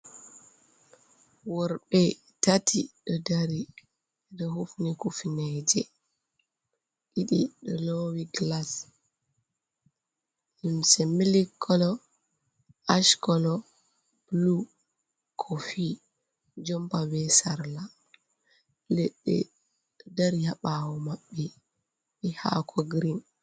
Worɓe tati ɗo dari ɗo hufni kufneje ɗiɗi ɗo lowi glas limse milik kolo, ash colo, blu, kofi jomba be sarla ledde ɗo dari ha ɓawo maɓɓe be hako girin.